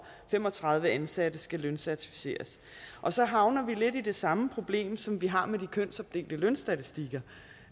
fem og tredive ansatte skal løncertificeres og så havner vi lidt i det samme problem som vi har med de kønsopdelte lønstatistikker